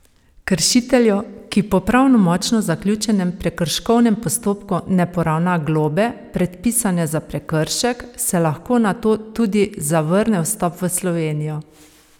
Kršitelju, ki po pravnomočno zaključenem prekrškovnem postopku ne poravna globe, predpisane za prekršek, se lahko nato tudi zavrne vstop v Slovenijo.